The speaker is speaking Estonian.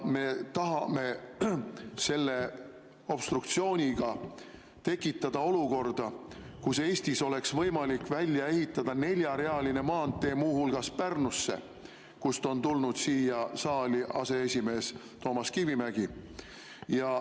Me tahame obstruktsiooniga tekitada olukorda, kus Eestis oleks võimalik välja ehitada neljarealine maantee muu hulgas Pärnusse, kust on tulnud siia saali aseesimees Toomas Kivimägi.